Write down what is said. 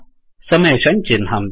summation चिह्नम्